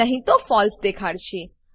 નહી તો ફળસે ફોલ્સ દેખાડશે